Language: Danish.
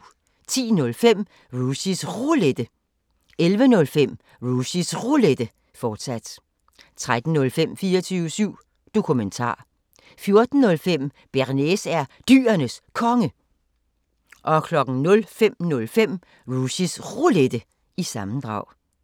10:05: Rushys Roulette 11:05: Rushys Roulette, fortsat 13:05: 24syv Dokumentar 14:05: Bearnaise er Dyrenes Konge 05:05: Rushys Roulette – sammendrag